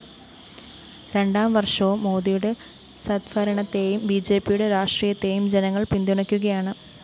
രണ്ടാം വര്‍ഷവും മോദിയുടെ സദ്ഭരണത്തെയും ബിജെപിയുടെ രാഷ്ട്രീയത്തെയും ജനങ്ങള്‍ പിന്തുണയ്ക്കുകയാണ്